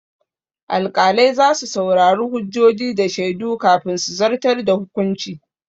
Alƙalai za su saurari hujjoji da shaidu kafin su zartar da hukunci.